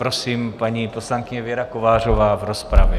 Prosím, paní poslankyně Věra Kovářová v rozpravě.